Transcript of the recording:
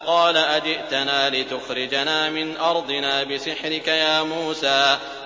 قَالَ أَجِئْتَنَا لِتُخْرِجَنَا مِنْ أَرْضِنَا بِسِحْرِكَ يَا مُوسَىٰ